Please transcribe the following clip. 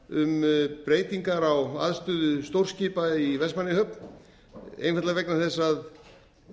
um breytingar á aðstöðu stórskipa í vestmannaeyjahöfn einfaldlega vegna þess að